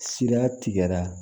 Sira tigɛra